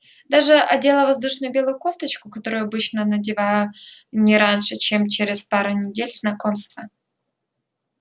даже одела воздушную белую кофточку которую обычно надеваю не раньше чем через пару недель знакомства